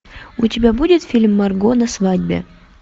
у тебя будет фильм марго на свадьбе